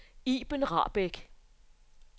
Iben Rahbek